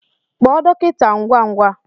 Kpọọ dọkịta ngwa ngwa!